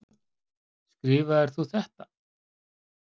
Skrifaðir þú þetta?